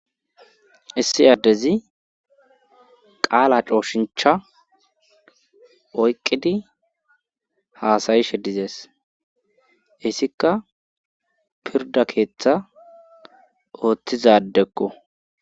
issi aaddezi qaala cooshincha oyqqidi haasayishe dizees issikka pirda keeththa ooththizadekko